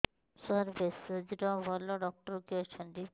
ସାର ଭେଷଜର ଭଲ ଡକ୍ଟର କିଏ ଅଛନ୍ତି